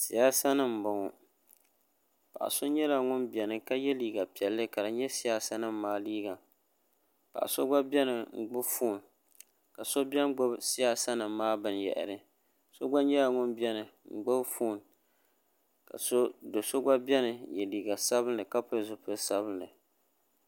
Siyaasa nima n bɔŋɔ paɣa so nyɛla ŋuni bɛni ka ye liiga sainli ka di nyɛ siyaasa nima maa liiga paɣa so gba bɛni n gbubi foon ka so bɛni n gbubi siyaasa nim maa bini yahari so gba nyɛla ŋuni bɛni n gbubi foon ka so so gba bɛni n ye liiga sabinli ka pili zipili sabinli '